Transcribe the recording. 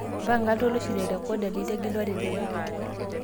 mpanga iltoloisho li rekodaa litegelua tenebo